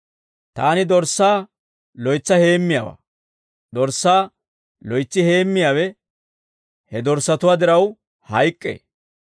«Taani dorssaa loytsa heemmiyaawaa; dorssaa loytsi heemmiyaawe he dorssatuwaa diraw hayk'k'ee.